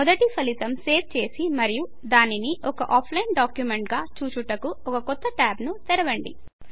మొదటి ఫలితం సేవ్ చేసి మరియు దానిని ఒక ఆఫ్లైన్ డాక్యుమెంట్ గా చూచుటకు ఒక కొత్త ట్యాబ్ ను తెరవండి